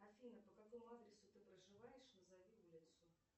афина по какому адресу ты проживаешь назови улицу